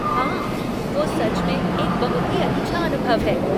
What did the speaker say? हाँ वो सच में एक बहुत ही अच्छा अनुभव है।